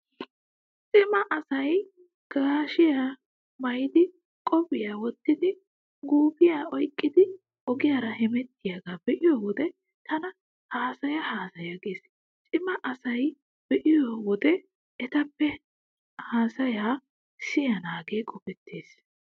Cima asay gaashiyaa maayidi qophiyaa wottidi guufiyaa oyqqidi ogiyaara hemettiyaagaa be'iyo wode tana haasaya haasaya gees. Cima asaa be'iyo wode etappe hayssiyaa siyanaagee qopettees.